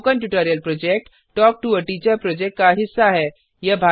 spoken tutorial project talk to a teacher project का हिस्सा है